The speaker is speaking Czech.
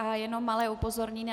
A jenom malé upozornění.